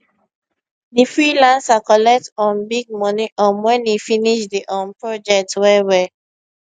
di freelancer collect um big money um wen e finish di um project well well